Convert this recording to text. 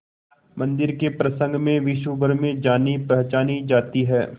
मंदिर के प्रसंग में विश्वभर में जानीपहचानी जाती है